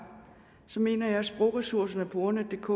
mener jeg at sprogressourcerne på ordnetdk